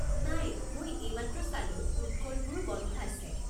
নাই মই এইমাত্ৰ চালো, ফুড ক'ৰ্টবোৰো বন্ধ আছে।